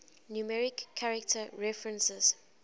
numeric character references